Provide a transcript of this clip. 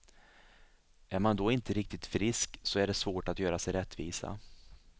Är man då inte riktigt frisk så är det svårt att göra sig rättvisa.